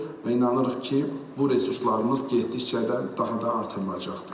və inanırıq ki, bu resurslarımız getdikcə də daha da artırılacaqdır.